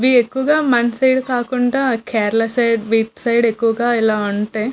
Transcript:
ఇవి ఎక్కువుగా మన సైడ్ కాకుండా కేరళ సైడ్ బీచ్ సైడ్ ఎక్కువుగా ఇలా ఉంటాయి.